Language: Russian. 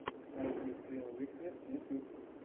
найти скрилл виктресс ютуб